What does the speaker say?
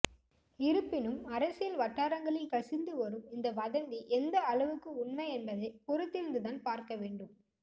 இருப்பினும் அரசியல் வட்டாரங்களில் கசிந்து வரும் இந்த வதந்தி எந்த அளவுக்கு உண்மை என்பதை பொறுத்திருந்துதான் பார்க்க வேண்டும்